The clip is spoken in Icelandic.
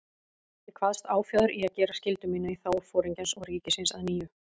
Ég kvaðst áfjáður í að gera skyldu mína í þágu Foringjans og ríkisins að nýju.